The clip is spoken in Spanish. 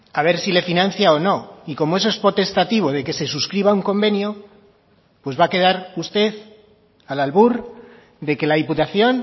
a ver si le financia o no y como eso es potestativo de que se suscriba un convenio pues va a quedar usted al albur de que la diputación